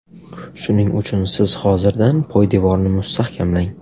Shuning uchun siz hozirdan poydevorni mustahkamlang.